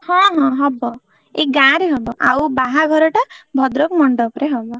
ହଁ ହଁ ହବ ଏଇ ଗାଁରେ ହବ ଆଉ ବାହାଘର ଟା ଭଦ୍ରକ ମଣ୍ଡପ ରେ ହବ।